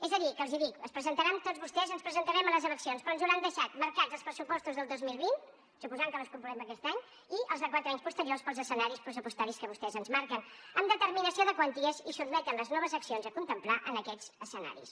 és a dir que els dic es presentaran tots vostès ens presentarem a les eleccions però ens hauran deixat marcats els pressupostos del dos mil vint suposant que les convoquem aquest any i els dels quatre anys posteriors pels escenaris pressupostaris que vostès ens marquen amb determinació de quanties i sotmeten les noves accions a contemplar en aquests escenaris